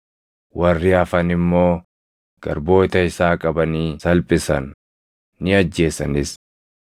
Warri hafan immoo garboota isaa qabanii salphisan; ni ajjeesanis.